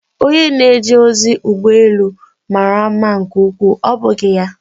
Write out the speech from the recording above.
Onye na-eje ozi ụgbọ elu mara mma nke ukwuu, ọ́ bụghị ya?